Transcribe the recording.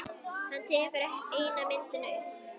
Hann tekur eina myndina upp.